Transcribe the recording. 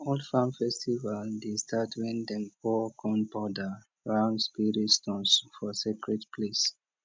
old farm festival dey start when dem pour corn powder round spirit stones for secret place